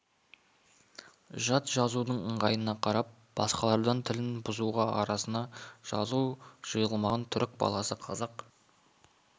жат жазудың ыңғайына қарап басқалардан тілін бұзуға арасына жазу жайылмаған түрік баласы қазақ